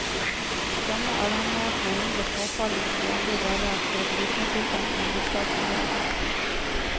Denne avhengigheten er mindre påfallende i andre deler av kollektivtrafikken i hovedstadsområdet.